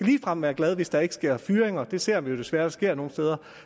ligefrem være glade hvis der ikke sker fyringer det ser vi jo desværre sker nogle steder